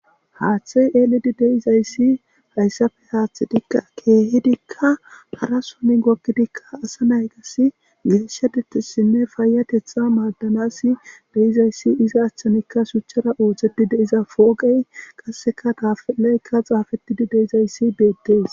Haaththe eelidi de7izayss hassappe keehidika harasso gogidikka asa naytassi demisha puittosinne payaththeta maadanaasi de7izayssi iza haaththankka shuchchara ooseti de7iza pooqe qasseka taappelay xaafetidi de7izayssi beetees.